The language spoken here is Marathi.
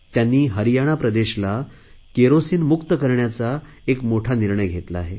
त्यांनी हरियाणा प्रदेशला केरोसिन मुक्त करण्याचा एक मोठा निर्णय घेतला आहे